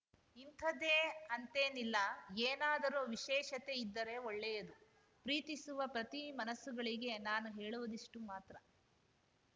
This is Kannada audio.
ಇಂಥದ್ದೇ ಅಂತೇನಿಲ್ಲ ಏನಾದರೂ ವಿಶೇಷತೆ ಇದ್ದರೆ ಒಳ್ಳೆಯದು ಪ್ರೀತಿಸುವ ಪ್ರತಿ ಮನಸ್ಸುಗಳಿಗೆ ನಾನು ಹೇಳುವುದಿಷ್ಟುಮಾತ್ರ